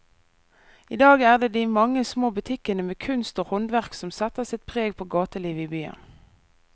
I dag er det de mange små butikkene med kunst og håndverk som setter sitt preg på gatelivet i byen.